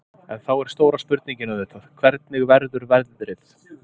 En þá er stóra spurningin auðvitað, hvernig verður veðrið?